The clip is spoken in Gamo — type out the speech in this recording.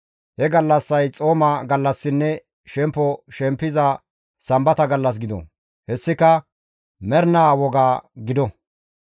He gallassay xooma gallassinne shempo shempiza sambata gallas gido; hessika mernaa woga gido;